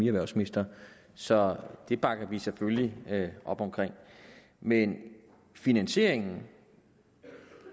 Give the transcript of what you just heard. erhvervsminister så det bakker vi selvfølgelig op om men finansieringen